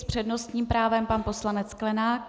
S přednostním právem pan poslanec Sklenák.